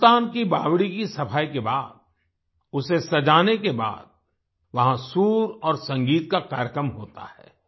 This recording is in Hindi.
सुल्तान की बावड़ी की सफाई के बाद उसे सजाने के बाद वहां सुर और संगीत का कार्यक्रम होता है